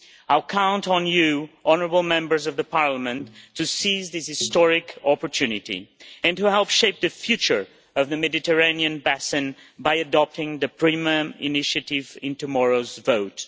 I count on you, honourable Members of Parliament, to seize this historic opportunity, and to help shape the future of the Mediterranean basin by adopting the PRIMA initiative in tomorrow's vote.